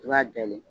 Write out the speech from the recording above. I b'a dayɛlɛn